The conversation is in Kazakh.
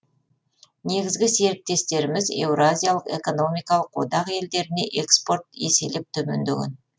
негізгі серіктестеріміз еуразиялық экономикалық одақ елдеріне экспорт еселеп төмендеген